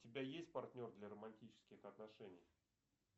у тебя есть партнер для романтических отношений